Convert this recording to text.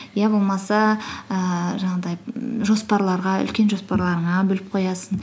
иә болмаса ііі жаңағыдай жоспарларға үлкен жоспарларыңа бөліп қоясың